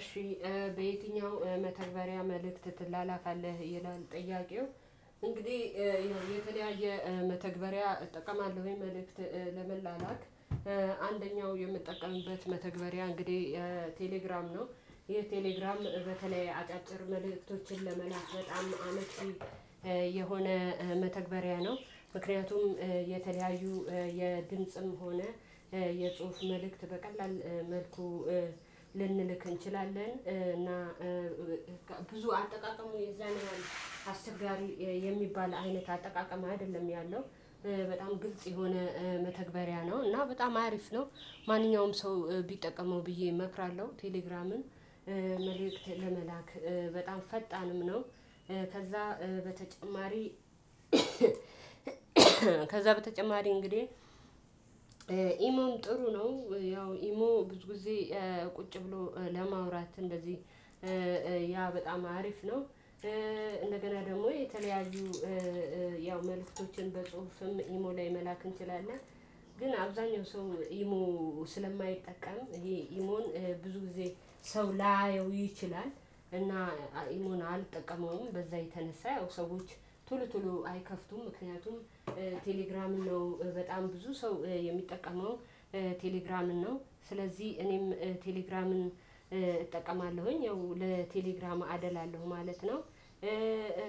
እሺ በየትኛው መተግበሪያ መልእክት ትላላካለህ ይላል? ጥያቄው እንግዲህ የተለያየ መተግበሪያ እጠቀማለሁኝ መልእክት ለመላላክ አንደኛው የምጠቀምበት መተግበሪያ እንግዲህ ቴሌግራም ነው። ይሄ ቴሌግራም በተለይ አጫጭር መልእክቶችን ለመላክ በጣም አመቺ የሆነ መተግበሪያ ነው። ምክንያቱም የተለያዩ የድምጽም ሆነ የጽሁፍ መልእክት በቀላል መልኩ ልንልክ እንችላለን። እና ብዙ አጠቃቀሙ የዛን ያህል አስቸጋሪ የሚባል አይነት አጠቃቀም አይደለም ያለው በጣም ግልጽ የሆነ መተግበሪያ ነው። እና በጣም አሪፍ ነው። ማንኛውም ሰው ቢጠቀመው ብዬ እመክራለሁ። ቴሌግራምን መልእክት ለመላክ በጣም ፈጣንም ነው። ከዛ በተጨማሪ ከዛ በተጨማሪ እንግዲህ ኢሞን ጥሩ ነው። ያው ኢሞ ብዙ ጊዜ ቁጭ ብሎ ለማውራት እንደዚህ ያ በጣም አሪፍ ነው። እንደገና ደግሞ የተለያዩ ያው መልእክቶችን በጽሁፍም ኢሞ ላይ መላክ እንችላለን። ግን አብዛኛው ሰው ኢሞ ስለማይጠቃዠም ይሄ ኢሞን ብዙ ጊዜ ሰው ላያየው ይችላል። እና ኢሞን አልጠቀመውም በዛ የተነሳ ያው ሰዎች ትሎ ትሎ አይከፍቱም። ምክንያቱም ቴሌግራም ነው በጣም ብዙ ሰው የሚጠቀመው ቴሌግራምን ነው። ስለዚህ እኔም ቴሌግራምን እጠቀማለሁኝ ያው ለቴሌግራም አደላለሁ ማለት ነው።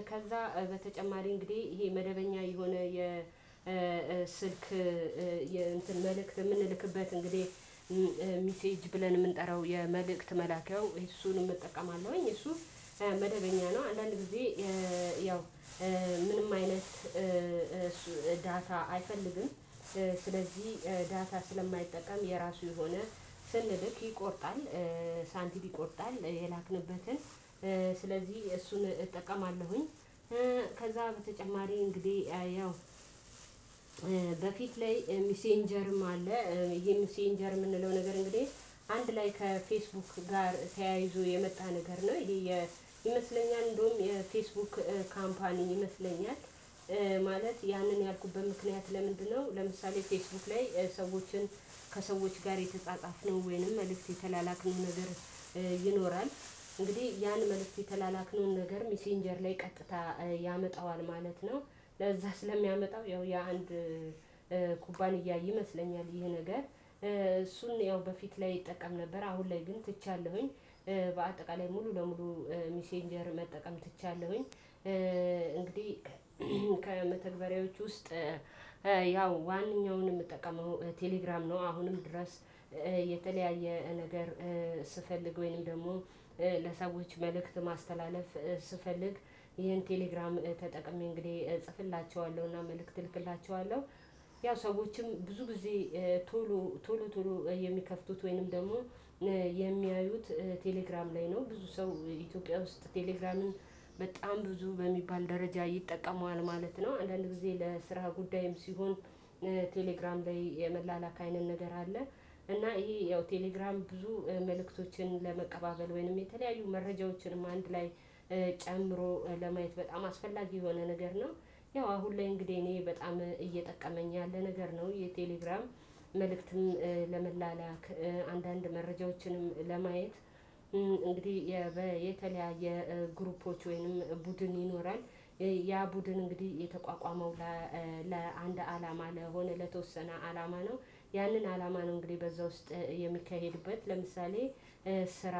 ከዛ በተጨማሪ እንግዲህ ይሄ መደበኛ የሆነ የስልክ የመልእክት የምንልክበት እንግዲህ ሚሴጅ ብለን የምንጠራው የመልእክት መላኪያው እሱንም እጠቀማለሁኝ። እሱ መደበኛ ነው አንዳንድ ጊዜ ያው ምንም አይነት ዳታ አይፈልግም። ስለዚህ ዳታ ስለማይጠቀም የራሱ የሆነ ስንልክ ይቆርጣል ሳንቲል ይቆርጣል የላክንበትን ስለዚህ እሱን እጠቀማለሁኝ። ከዛ በተጨማሪ እንግዲህ ያው በፊት ላይ ሚሴንጀርም አለ። ይሄ ሚሴንጀርም የምንለው ነገር እንግዲህ አንድ ላይ ከፌስቡክ ጋር ተያይዞ የመጣ ነገር ነው። ይሄ ይመስለኛል እንደውም የፌስቡክ ካምፓኒ ይመስለኛል። ማለት ያንን ያልኩበት ምክንያት ለምንድነው? ለምሳሌ ፌስቡክ ላይ ሰዎችን ከሰዎች ጋር የተጻጻፍነው ወይንም መልእክት የተላላክን ነገር ይኖራል። እንግዲህ ያን መልእክት የተላላክነውን ነገር ሚሴንጀር ላይ ቀጥታ ያመጣዋል ማለት ነው። ለዛ ስለሚያመጣው ያው የአንድ ኩባንያ ይመስለኛል ይሄ ነገር እሱን ያው በፊት ላይ እጠቀም ነበር አሁን ላይ ግን ትቻለሁኝ። በአጠቃላይ ሙሉ ለሙሉ ሚሴንጀር መጠቀም ትቻለሁኝ። እንግዲህ ከመተግበሪያዎቹ ውስጥ ያው ዋንኛውንም የምጠቀመው ቴሌግራም ነው። አሁንም ድረስ የተለያየ ነገር ስፈልግ ወይንም ደግሞ ለሰዎች መልእክት ማስተላለፍ ስፈልግ ይሄን ቴሌግራም ተጠቅሜ እንግዲህ እጽፍላቸዋለሁና መልእክት እልክላቸዋለሁ። ያው ሰዎችም ብዙ ጊዜ ቶሎ ቶሎ ቶሎ የሚከፍቱት ወይንም ደግሞ የሚያዩት ቴሌግራም ላይ ነው። ብዙ ሰው ኢትዮጵያ ውስጥ ቴሌግራምም በጣም ብዙ በሚባል ደረጃ ይጠቀመዋል ማለት ነው። አንዳንድ ጊዜ ለስራ ጉዳይም ሲሆን ቴሌግራም ላይ የመላላክ አይነት ንገር አለ። እና ይሄ ያው ቴሌግራም ብዙ መልእክቶችን ለመቀባበል ወይንም የተለያዩ መረጃዎችንም አንድ ላይ ጨምሮ ለማየት በጣም አስፈላጊ የሆነ ነገር ነው። ያው አሁን ላይ እንግዲህ እኔ በጣም እየጠቀመኝ ያለ ነገር ነው የቴሌግራም መልእክትም ለመላላክ አንዳንድ መረጃዎችንም ለማየት። እንግዲህ የተለያየ ግሩፖች ወይንም ቡድን ይኖራል። ያ ቡድን እንግዲህ የተቋቋመው ለአንድ አላማ ለሆነ ለተወሰነ አላማ ነው። ያንን አላማ ነው እንግዲህ በዛ ውስጥ የሚካሄድበት ለምሳሌ ስራ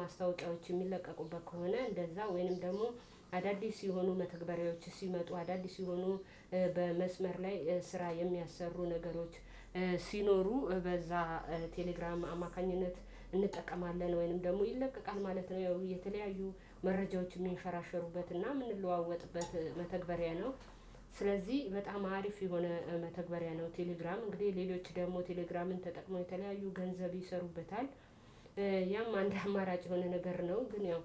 ማስታወቂያዎች የሚለቀቁበት ከሆነ እንደዛ ወይንም ደግሞ አዳዲስ ሲሆኑ መተግበሪያዎች ሲመጡ አዳዲስ የሆኑ በመስመር ላይ ስራ የሚያሰሩ ነገሮች። ሲኖሩ በዛ ቴሌግራም አማካኝነት እንጠቀማለን ወይንም ደግሞ ይለቀቃል ማለት ነው። ያው የተለያዩ መረጃዎችን የሚንሸራሸሩበት እና የምንለዋወጥበት መተግበሪያ ነው። ስለዚህ በጣም አሪፍ የሆነ መተግበሪያ ነው። ቴሌግራም እንግዲህ ሌሎች ደግሞ ቴሌግራምን ተጠቅመው የተለያዩ ገንዘብ ይሰሩበታል። ያም አንድ አማራጭ የሆነ ነገር ነው። ግን ያው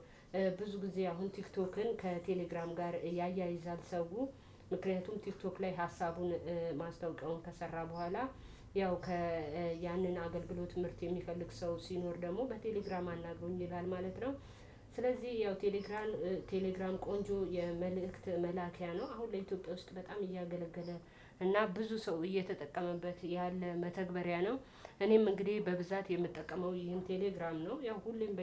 ብዙ ጊዜ አሁን ቲክቶክን ከቴሌግራም ጋር ያያይዛል ሰውን። ምክንያቱም ቲክቶክ ላይ ሀሳቡን ማስታወቂያውን ከሰራ በኋላ ያው ከ ያንን አገልግሎት ምርት የሚፈልግ ሰው ሲኖር ደግሞ በቴሌግራም አናግሩኝ ይላል ማለት ነው። ስለዚህ ያው ቴሌግራም ቴሌግራም ቆንጆ የመልእክት መላኪያ ነው። አሁን ለኢትዮጵያ ውስጥ በጣም እያገለገለ እና ብዙ ሰው እየተጠቀመበት ያለ መተግበሪያ ነው። እኔም እንግዲህ በብዛት የምጠቀመው ይህን ቴሌግራም ነው። ያው ሁሌም በየ